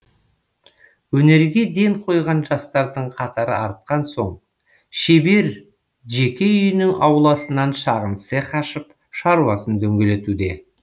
өнерге ден қойған жастардың қатары артқан соң шебер жеке үйінің ауласынан шағын цех ашып шаруасын дөңгелетуде